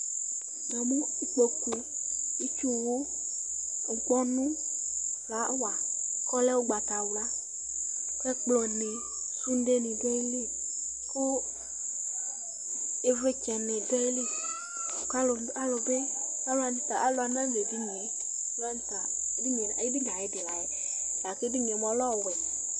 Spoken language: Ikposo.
Namʋ ikpokʋ, itsʋwʋ, ŋkpɔnʋ, flawa kʋ ɔlɛ ʋgbatawla Kʋ ɛkplɔni, sʋde ni, dʋ ayili Kʋ ivlitsɛni dʋ ayili kʋ alʋniwani nadʋ edunie, edinie ayʋ idi layɛ lakʋ edini lɛ ɔwʋɛ